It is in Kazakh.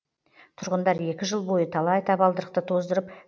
тұрғындар екі жыл бойы талай табалдырықты тоздырып